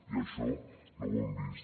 i això no ho hem vist